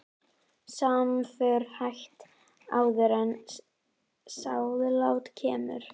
Samförum hætt áður en sáðlát kemur.